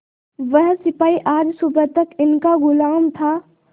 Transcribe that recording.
वह सिपाही आज सुबह तक इनका गुलाम था